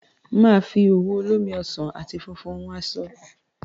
Máa fi òwú olómi ọsàn àti funfun hun aṣọ